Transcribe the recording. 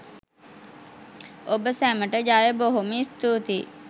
ඔබ සැමට ජය බොහොම ස්තුතියි